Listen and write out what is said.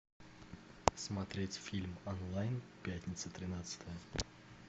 смотреть фильм онлайн пятница тринадцатое